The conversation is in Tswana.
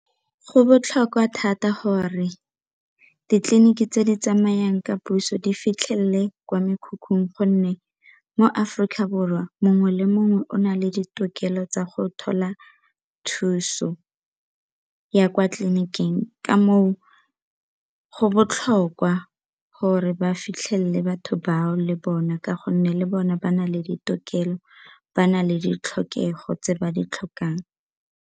Go botlhokwa thata gore ditleliniki tse di tsamayang ka puso di fitlhelele kwa mekhukhung gonne mo Aforika Borwa mongwe le mongwe o na le ditokelo tsa go thola thuso ya kwa tleliniking ka moo go botlhokwa gore ba fitlhelele batho bao le bona ka gonne le bone ba na le ditokelo ba na le ditlhokego tse ba di tlhokang.